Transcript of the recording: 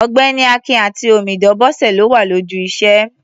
Ọ̀gbẹ́ni Akin àti omidan Bọ́sẹ̀ ló wà lójú iṣẹ́.